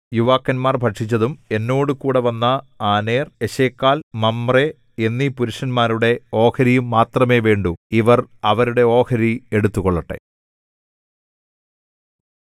യുവാക്കന്മാർ ഭക്ഷിച്ചതും എന്നോടുകൂടെ വന്ന ആനേർ എശ്ക്കോൽ മമ്രേ എന്നീ പുരുഷന്മാരുടെ ഓഹരിയും മാത്രമേ വേണ്ടു ഇവർ അവരുടെ ഓഹരി എടുത്തുകൊള്ളട്ടെ